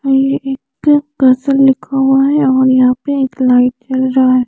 और ये एक लिखा हुआ है और यहा पे एक लाइट जलरा है।